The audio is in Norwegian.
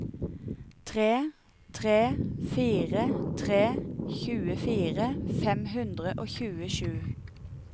tre tre fire tre tjuefire fem hundre og tjuesju